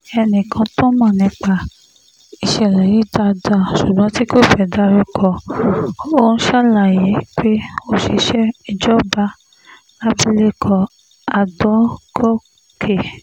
ẹnìkan tó mọ̀ nípa ìṣẹ̀lẹ̀ yìí dáadáa ṣùgbọ́n tí kò fẹ́ ká dárúkọ òun ṣàlàyé pé òṣìṣẹ́ ìjọba làbìlẹ̀kọ adọ́gọ́kẹ́